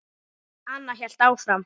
Anna hélt áfram.